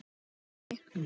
Einn sá allra besti.